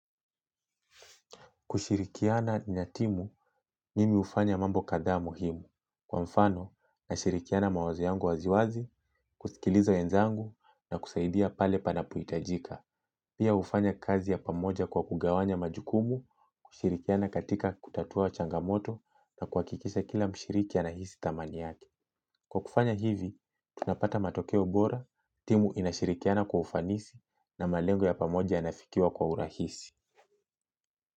Kushirikiana na timu mimi ufanya mambo kadhaa muhimu. Kwa mfano na shirikiana mawazo yangu waziwazi, kusikilizo wenzangu na kusaidia pale panapuitajika. Pia ufanya kazi ya pamoja kwa kugawanya majukumu, kushirikiana katika kutatua changamoto na kuwakikisha kila mshiriki anahisi tamani yake. Kwa kufanya hivi, tunapata matokeo bora, timu inashirikiana kwa ufanisi na malengo ya pamoja yanafikiwa kwa urahisi.